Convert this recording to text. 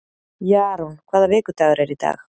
Jarún, hvaða vikudagur er í dag?